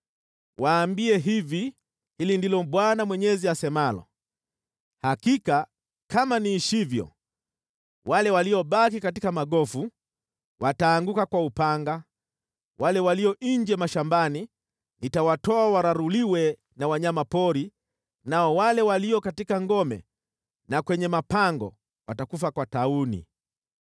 “Waambie hivi: ‘Hili ndilo Bwana Mwenyezi asemalo: Hakika kama niishivyo, wale waliobaki katika magofu wataanguka kwa upanga, wale walio nje mashambani nitawatoa wararuliwe na wanyama pori, nao wale walio katika ngome na kwenye mapango watakufa kwa tauni.